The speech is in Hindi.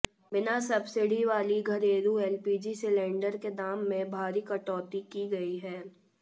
बिना सब्सिडी वाली घरेलू एलपीजी सिलेंडर के दाम में भारी कटौती की गई है